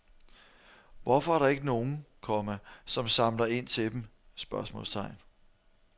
Hvorfor er der ikke nogen, komma som samler ind til dem? spørgsmålstegn